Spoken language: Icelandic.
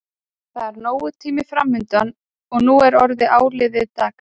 Það er nógur tími framundan og nú er orðið áliðið dags.